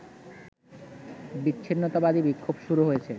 বিচ্ছিন্নতাবাদী বিক্ষোভ শুরু হয়েছে